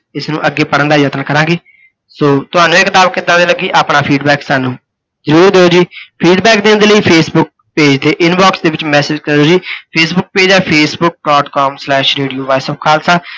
ਇਸ ਨੂੰ ਅੱਗੇ ਪੜ੍ਹਣ ਦਾ ਯਤਨ ਕਰਾਂਗੇ, ਸੋ ਤੁਹਾਨੂੰ ਇਹ ਕਿਤਾਬ ਕਿੱਦਾਂ ਦੀ ਲੱਗੀ ਆਪਣਾ ਫੇਸਬੁੱਕ ਸਾਨੂੰ ਜਰੂਰ ਦਿਓ ਜੀ, feedback ਦੇਣ ਦੇ ਲਈ ਫੇਸਬੁੱਕ page ਦੇ inbox ਦੇ ਵਿੱਚ message ਕਰਿਓ ਜੀ। ਫੇਸਬੁੱਕ page ਹੈ Facebook dot com slash radio voice of khalsa